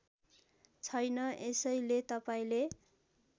छैन यसैले तपाईँले